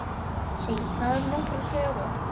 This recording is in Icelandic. Segir það nokkra sögu.